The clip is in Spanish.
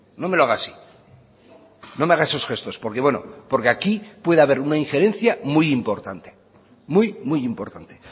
no me lo haga así no me haga esos gestos porque bueno porque aquí puede haber una ingerencia muy importante muy muy importante